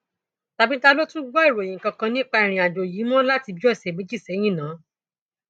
tàbí ta ló tún gbọ ìròyìn kankan nípa ìrìnàjò yìí mọ láti bíi ọsẹ méjì sẹyìn náà